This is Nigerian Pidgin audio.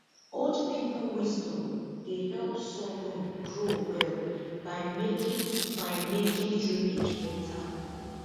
old people wisdom dey help sorghum grow well by making by making drainage better